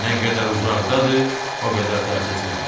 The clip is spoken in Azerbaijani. Nə qədər uzaqdadır, o qədər təsirsiz qalır.